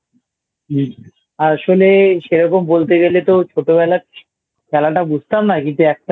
আসলে সেরকম বলতে গেলে তো ছোটবেলায় খেলাটা বুঝতাম না কিন্তু একটা